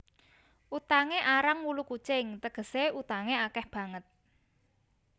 Utangé arang wulu kucing tegesé utangé akeh banget